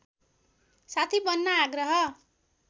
साथी बन्न आग्रह